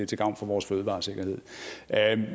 til gavn for vores fødevaresikkerhed